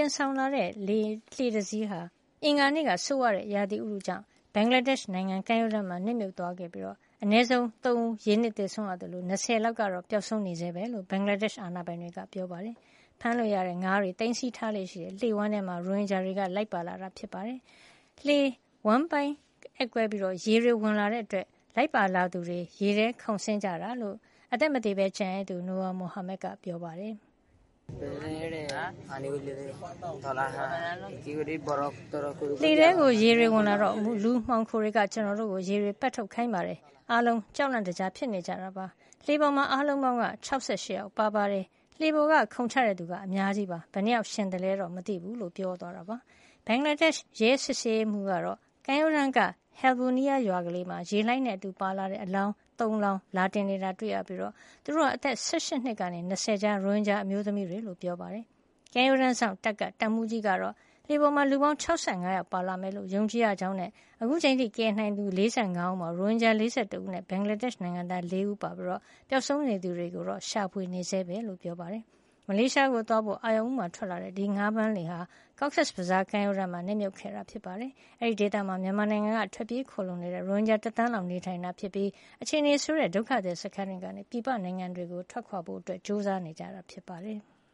င်ဆောင်လာတဲ့ လှေတစင်းဟာ အင်္ဂါနေ့က ဆိုးဝါးတဲ့ ရာသီဥတုကြောင့် ဘင်္ဂလားဒေ့ရှ်နိုင်ငံ ကမ်းရိုးတန်းမှာ နစ်မြုပ်သွားပြီး အနည်းဆုံး ၃ ဦး ရေနစ်သေဆုံးရသလို လူ ၂၀ လောက်က ပျောက်ဆုံးနေဆဲပဲလို့ ဘင်္ဂလားဒေ့ရှ် အာဏာပိုင်တွေက ပြောပါတယ်။ ဖမ်းမိတဲ့ငါးတွေကို သိမ်းဆည်းထားလေ့ရှိတဲ့ လှေဝမ်းထဲမှာ ရိုဟင်ဂျာတွေ လိုက်ပါလာတာဖြစ်ပြီး၊ စက်လှေဝမ်းပိုင်း အက်ကွဲရာက ရေတွေဝင်လာတဲ့အတွက် လိုက်ပါလာသူတွေ ရေထဲခုန်ဆင်းကြတာ ဖြစ်ကြောင်း အသက်မသေပဲ ကျန်ရစ်သူ Noor Mohammad ကပြောပါတယ်။ “လှေထဲကို ရေတွေ ဝင်လာတော့ လူမှောင်ခိုတွေက ကျနော်တို့ကို ရေတွေ ပက်ထုတ်ခိုင်းတယ်။ အားလုံးကြောက်လန့်တကြား ဖြစ်နေတယ်။ လှေပေါ်မှာ အားလုံးပေါင်းက ၆၈ ယောက်ပါပါတယ်။ လှေပေါ်က ခုန်ချတဲ့သူက အများကြီးပဲ။ ဘယ်နှစ်ယောက်ရှင်သလဲတော့ မသိဘုူး” လို့ ပြောပါတယ်။ ဘင်္ဂလားဒေ့ရှ် ရဲစစ်ဆေးရေးမှုး Nur Mohammad ကတော့ ကမ်းရိုးတန်းက Halbunia ရွာကလေးမှာ ရေလှိုင်းနဲ့အတူပါလာတဲ့ အလောင်း ၃ လောင်း လာတင်နေတာတွေ့ရပြီး သူတို့ဟာ အသက် ၁၈ နှစ်ကနေ ၂၀ ကြား ရိုဟင်ဂျာအမျိုးသမီးတွေဖြစ်ကြောင်း ပြောပါတယ်။ ကမ်းရိုးတန်းစောင့်တပ်က တပ်မှုးကြီးကတော့ လှေပေါ်မှာ လူပေါင်း ၆၅ ယောက်ပါလာမယ်လို့ ယုံကြည်ရကြောင်းနဲ့ အခုအချိန်အထိ ကယ်ဆယ်နိုင်ခဲ့သူ ၄၅ ဦးမှာ ရိုဟင်ဂျာ ၄၁ ဦးနဲ့ ဘင်္ဂလာဒေ့ရှ်နိုင်ငံသား ၄ ဦး ပါပြီး ပျောက်ဆုံးနေသူတွေကိုတော့ ရှာဖွေနေဆဲပဲလို့ ပြောပါတယ်။ မလေးရှားနိုင်ငံကို သွားဖို့ အာရုံဦးမှာ ထွက်ခွါလာတဲ့ ဒီငါးဖမ်းလှေဟာ Cox's Bazar ကမ်းရိုးတန်းမှာ နစ်မြုပ်ခဲ့တာပါ။ အဲဒီဒေသမှာ မြန်မာနိုင်ငံက ထွက်ပြေးခိုလှုံနေတဲ့ ရိုဟင်ဂျာ ၁ သန်းလောက်နေထိုင်တာ ဖြစ်ပြီး အခြေနေဆိုးတဲ့ ဘင်္ဂလားဒေ့ရှ်က ဒုက္ခသည်စခန်းတွေနေ ပြည်ပနိုင်ငံတွေကို ထွက်ခွါဖို့ ကြိုးစားနေကြတာ ဖြစ်ပါတယ်။